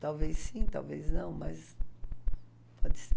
Talvez sim, talvez não, mas pode ser.